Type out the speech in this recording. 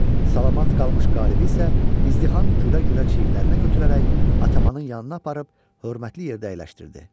Salamat qalmış qalibi isə izdiham gülə-gülə çiyninə götürərək atamanın yanına aparıb hörmətli yerdə əyləşdirdi.